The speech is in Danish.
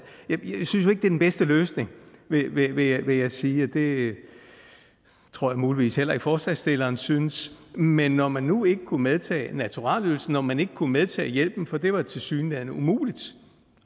er den bedste løsning vil jeg vil jeg sige det tror jeg muligvis heller ikke at forslagsstillerne synes men når man nu ikke kunne medtage naturalieydelsen og man ikke kunne medtage hjælpen for det var tilsyneladende umuligt